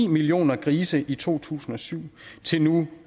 millioner grise i to tusind og syv til nu